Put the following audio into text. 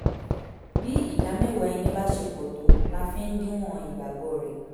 bí ìdá mẹ́wàá ẹnì bá ṣe pọ̀ tó la fi ń díwọ̀n ìgbàgbọ́ rẹ̀